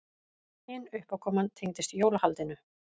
Hin uppákoman tengdist jólahaldinu.